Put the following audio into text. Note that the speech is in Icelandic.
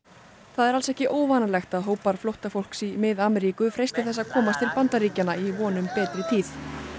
það er alls ekki óvanalegt að hópar flóttafólks í Mið Ameríku freisti þess að komast til Bandaríkjanna í von um betri tíð